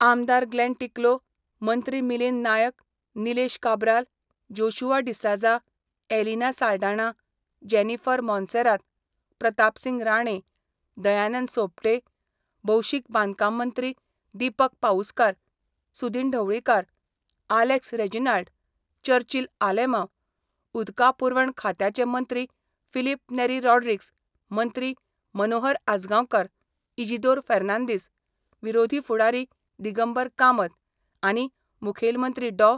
आमदार ग्लेन टिकलो, मंत्री मिलिंद नायक, निलेश काब्राल, जोशुआ डिसाझा, एलिना साल्ढाणा, जेनीफर मोंसेरात, प्रतापसिंग राणे, दयानंद सोपटे, भौशीक बांदकाम मंत्री दीपक पाऊसकार, सुदीन ढवळीकार, आलेक्स रेजिनाल्ड, चर्चील आलेमांव, उदका पुरवण खात्याचे मंत्री फिलीप नेरी रॉड्रिग्ज मंत्री मनोहर आजगांवकार, इजिदोर फेर्नांदीस, विरोधी फुडारी दिगंबर कामत आनी मुखेल मंत्री डॉ.